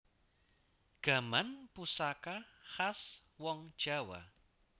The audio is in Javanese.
Gaman pusaka khas wong jawa